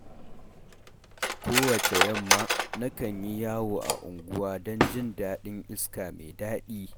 Kowacce yamma, nakan yi yawo a unguwa don jin daɗin iska mai daɗi.